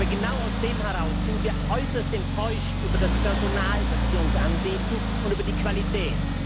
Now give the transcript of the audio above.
Aber genau aus diesem Grund sind wir äußerst enttäuscht über das Personal, das Sie uns anbieten, und über dessen Qualität.